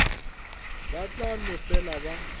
ba tla no fela ba